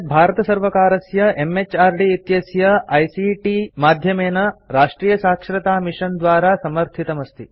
एतत् भारतसर्वकारस्य एमएचआरडी इत्यस्य आईसीटी माध्यमेन राष्ट्रीयसाक्षरतामिशन द्वारा समर्थितमस्ति